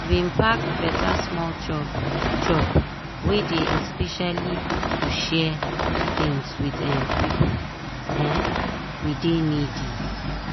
e bin pack beta small chop chop wey dey especially to share things with um pipo um wey dey needy.